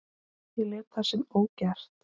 Ég lét það samt ógert.